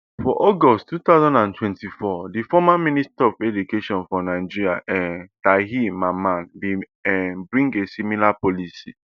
for august two thousand and twenty-four di former minister of education for nigeria um tahir mamman bin um bring a similar policy